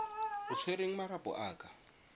o tshwereng marapo a ka